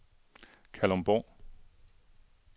Kalundborg